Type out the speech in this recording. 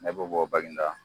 Ne bɛ bɔ Baginda.